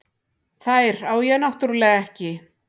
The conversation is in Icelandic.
Þær á ég náttúrlega ekki.